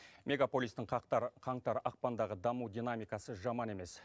мегаполистің қаңтар ақпандағы даму динамикасы жаман емес